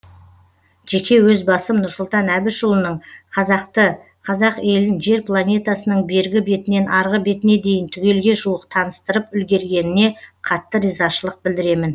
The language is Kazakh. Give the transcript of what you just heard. жеке өз басым нұрсұлтан әбішұлының қазақты қазақ елін жер планетасының бергі бетінен арғы бетіне дейін түгелге жуық таныстырып үлгергеніне қатты ризашылық білдіремін